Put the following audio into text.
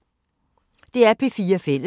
DR P4 Fælles